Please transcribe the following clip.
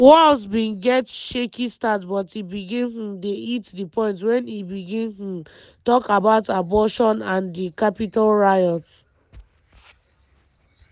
walz bin get shaky start but e begin um dey hit di point wen e begin um tok about abortion and di capitol riot.